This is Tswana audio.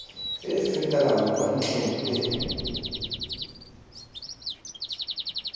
e fetelang kwa ntlheng e